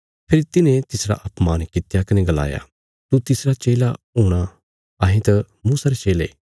फेरी तिन्हे तिसरा अपमान कित्या कने गलाया तू तिसरा चेला हूणा अहें त मूसा रे चेले